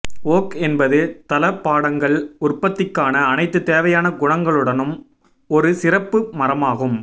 okay என்பது தளபாடங்கள் உற்பத்திக்கான அனைத்து தேவையான குணங்களுடனும் ஒரு சிறப்பு மரமாகும்